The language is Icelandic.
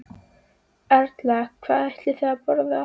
Erla: Hvað ætlið þið að borða?